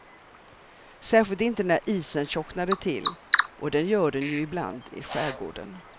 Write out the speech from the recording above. Särskilt inte när isen tjocknade till, och det gör den ju ibland i skärgården.